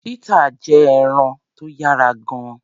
Chetta jẹ́ ẹranko tó yára gan-an.